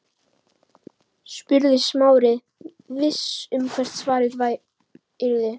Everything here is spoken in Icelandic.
spurði Smári, viss um hvert svarið yrði.